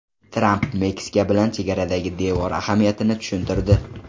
Tramp Meksika bilan chegaradagi devor ahamiyatini tushuntirdi.